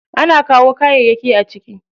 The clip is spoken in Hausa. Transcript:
Ana kawo kayayyaki a ciki.